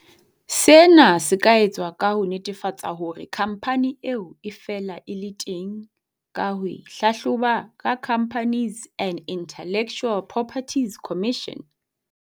Sena se ka etswa ka ho netefatsa hore khampani eo e fela e le teng ka ho e hlahloba ho Companies and Intellectual Property Commission.